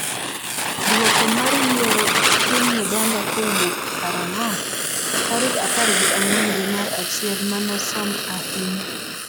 dwoko mar yiero piny Uganda kowuok karang'o ? Tarik apar gi ang'wen dwe mar achiel manosom ahinya